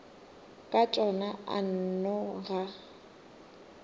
ka tšona a nno ga